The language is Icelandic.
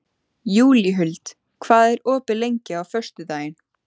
Júlíhuld, hvað er opið lengi á föstudaginn?